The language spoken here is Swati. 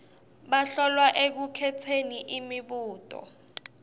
bahlolwa ekukhetseni imibuto